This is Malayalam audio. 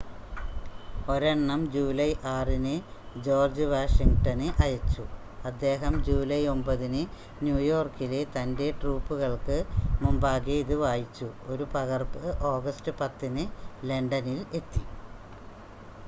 ഒരെണ്ണം ജൂലൈ 6-ന് ജോർജ്ജ് വാഷിംഗ്ടണ് അയച്ചു അദ്ദേഹം ജൂലൈ 9-ന് ന്യൂയോർക്കിലെ തൻ്റെ ട്രൂപ്പുകൾക്ക് മുമ്പാകെ ഇത് വായിച്ചു ഒരു പകർപ്പ് ഓഗസ്റ്റ് 10-ന് ലണ്ടനിൽ എത്തി